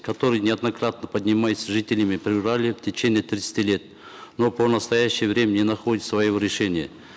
который неоднократно поднимается жителями в течение тридцати лет но по настоящее время не находит своего решения